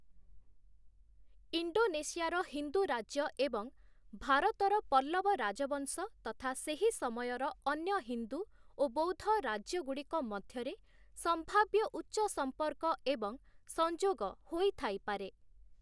ଇଣ୍ଡୋନେସିଆର ହିନ୍ଦୁ ରାଜ୍ୟ ଏବଂ ଭାରତର ପଲ୍ଲବ ରାଜବଂଶ ତଥା ସେହି ସମୟର ଅନ୍ୟ ହିନ୍ଦୁ ଓ ବୌଦ୍ଧ ରାଜ୍ୟଗୁଡ଼ିକ ମଧ୍ୟରେ ସମ୍ଭାବ୍ୟ ଉଚ୍ଚ ସମ୍ପର୍କ ଏବଂ ସଂଯୋଗ ହୋଇଥାଇପାରେ ।